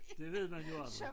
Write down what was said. Det ved man jo aldrig